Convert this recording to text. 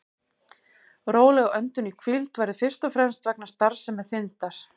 Róleg öndun í hvíld verður fyrst og fremst vegna starfsemi þindar.